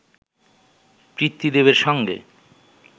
পিতৃদেবের সঙ্গে